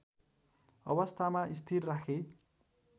अवस्थामा स्थिर राखे